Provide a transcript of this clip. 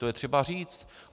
To je třeba říct.